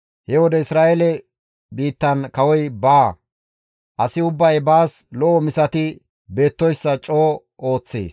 He wode Isra7eele biittan kawoy baawa; asi ubbay baas lo7o misati beettoyssa coo ooththees.